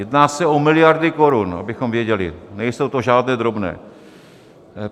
Jedná se o miliardy korun, abychom věděli, nejsou to žádné drobné.